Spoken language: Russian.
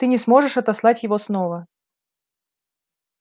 ты не сможешь отослать его снова